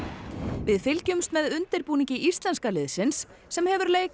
við fylgjumst með undirbúningi íslenska liðsins sem hefur leik á